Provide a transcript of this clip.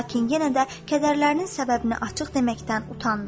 Lakin yenə də kədərlərinin səbəbini açıq deməkdən utandı.